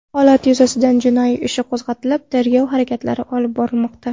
Holat yuzasidan jinoyat ishi qo‘zg‘atilib, tergov harakatlari olib borilmoqda.